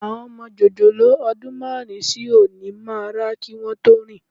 Àwọn ọmọ jòjòló ọdún márùn-ún sí òní máa rá kí wọn tó rìn